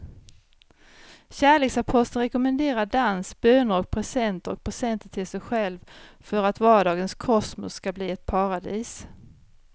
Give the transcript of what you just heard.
Kärleksaposteln rekommenderar dans, böner och presenter och presenter till sig själv för att vardagens kosmos ska bli ett paradis.